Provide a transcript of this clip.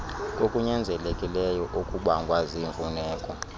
kokunyanzelekileyo okubangwa ziimfuneko